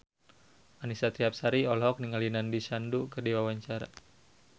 Annisa Trihapsari olohok ningali Nandish Sandhu keur diwawancara